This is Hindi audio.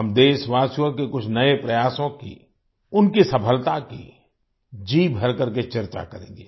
हम देशवासियों के कुछ नए प्रयासों की उनके सफलता की जीभर करके चर्चा करेंगे